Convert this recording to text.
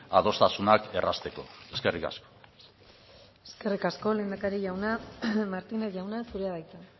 adostasunak errazteko eskerrik asko eskerrik asko lehendakari jauna martínez jauna zurea da hitza